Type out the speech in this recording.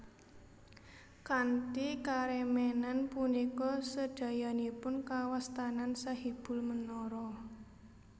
Kanthi karemenan punika sedayanipun kawastanan Sahibul Menara